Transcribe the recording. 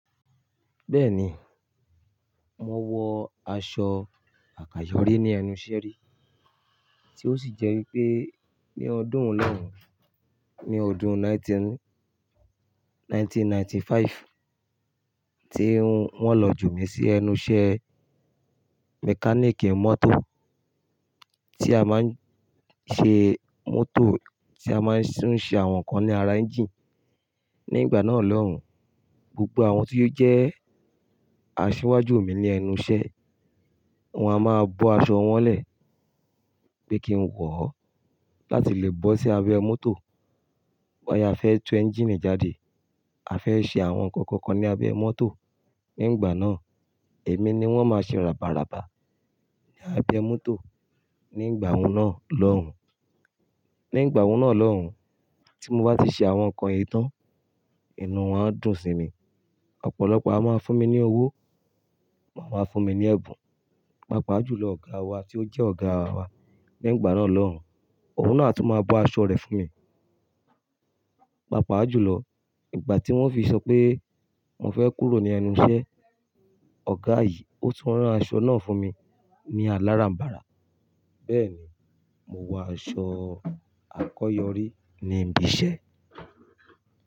Bẹ́ẹ̀ni, mo wọ aṣọ àkáyọrí ní ẹnu sẹ́rí, tí ó sì jẹ́ wípé ní ọdún hun lọ́hùn, ní ọdún ẹgbẹ̀rún kan ó lé ọgọ́rùn-ún mẹ́sàn-án ó lé àrúndínlọ́gọ́rùn-ún tí wón lọ jù mí sí ẹnu iṣẹ́ mechanic mọ́tò tí a máa ń ṣe mọ́tò, tí a máa ń tún ṣe àwọn nǹkan ní ara ẹ́ńjìnì. Ní ìgbà náà lọ́hùn, gbogbo àwọn tí ó jẹ́ asiwaju mi ní ẹnu iṣẹ́, wọn a máa bọ́ aṣọ wọn lẹ̀ pé kí n wọ̀ ó láti lè bọ́ sí abẹ mọ́tò. Bóyá a fẹ́ tú ẹńjìnì jáde, a fẹ́ ṣe àwọn nǹkan kankan ní abẹ mọ́tò. Ní ìgbà náà, èmi ni wọ́n máa ṣe ràbàràba ní abẹ mọ́tò ní ìgbàhun náà lọ́hùn. Ní ìgbà ọ̀hún náà lọ́hùn, tí mo bá ti ṣe àwọn nǹkan yìí tán, inú wọn dùn sí mi. Ọ̀pọ̀lọpọ̀ a máa fún mi ní owó, màá máa fún mi ní ẹ̀bùn. Pàápàá jù lọ, ọ̀gá wa tí ó jẹ́ ọ̀gá wa nígbà náà lọ́hùn, òun náà tún máa bọ́ aṣọ rẹ̀ fún mi. Pàápàá jù lọ, ìgbà tí wọ́n fi sọ pé mo fẹ́ kúrò ní ẹnu iṣẹ́, ọ̀gá yìí, ó tún rán aṣọ náà fún mi ní aláràǹbarà. Bẹ́ẹ̀ni, mo wọ aṣọ àkọyọrí ní ibi iṣẹ́.